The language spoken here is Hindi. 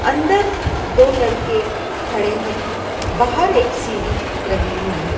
अंदर दो लड़के खड़े हैं बाहर एक सीढ़ी लगी हुई है।